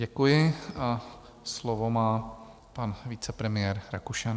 Děkuji a slovo má pan vicepremiér Rakušan.